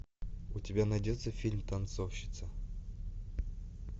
у тебя найдется фильм танцовщица